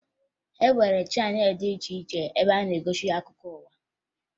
E nwere chaneelụ dị iche iche ebe a na-egosi akụkọ ụwa